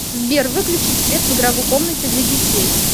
сбер выключить свет в игровой комнате для детей